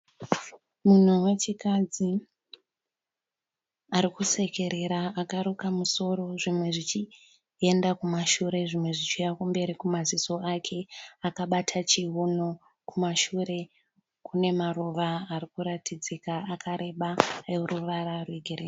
Munhu wechikadzi arikusekerera akaruka musoro zvimwe zvichienda kumashure zvimwe zvichiuya mberi kumaziso ake. Akabata chiuno kumashure kune maruva ari kuratidzika akareba ane ruvara rwegirini.